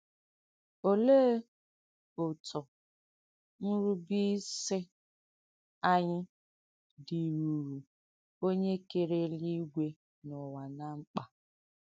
Ọléè òtụ̀ ǹrùbéìsị ànyị dìrùrù Ọnye kèrē èlùìgwe na ùwà ná m̀kpà?